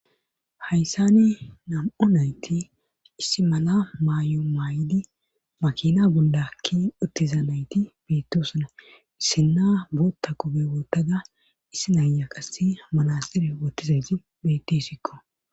Hayssani nam'o nayti issi mala maayo maay7di makina gundakki ottizanayti biittosana issinna bootta kobe wootada issi naaya qasse manasere woottizayti betisikko